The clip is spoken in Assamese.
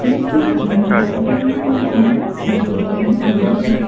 ইয়াত থকা জিম টোত বিভিন্ন ধৰণৰ ফেন থকা দেখিবলৈ পোৱা গৈছে।